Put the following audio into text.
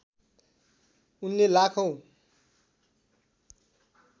उनले लाखौं